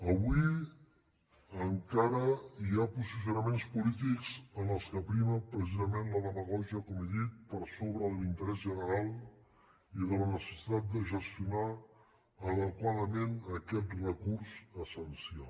avui encara hi ha posicionaments polítics en els quals prima precisament la demagògia com he dit per sobre de l’interès general i de la necessitat de gestionar adequadament aquest recurs essencial